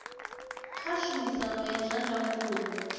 kha tshumisano ya zwa ndangulo